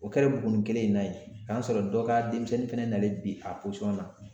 O kɛra Buguni kelen in na yen, k'a sɔrɔ dɔ ka denmisɛnnin fɛnɛ nalen bi a pɔsɔn na.